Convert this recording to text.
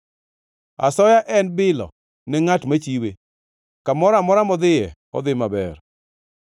Asoya en bilo ne ngʼat machiwe, kamoro amora modhiye, odhi maber.